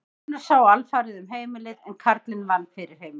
Konur sáu alfarið um heimilið en karlinn vann fyrir heimilinu.